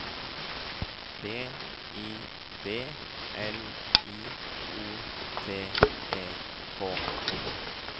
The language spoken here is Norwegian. B I B L I O T E K